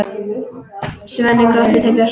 Svenni glottir til Bjössa.